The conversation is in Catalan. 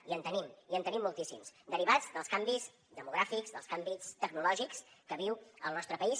i en tenim i en tenim moltíssims derivats dels canvis demogràfics dels canvis tecnològics que viu el nostre país